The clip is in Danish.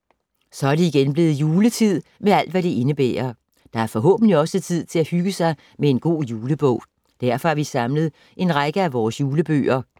Så er det igen blevet juletid med alt, hvad det indebærer. Der er forhåbentlig også tid til at hygge sig med en god julebog. Derfor har vi samlet en række af vores julebøger.